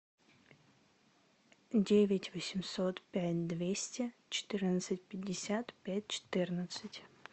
девять восемьсот пять двести четырнадцать пятьдесят пять четырнадцать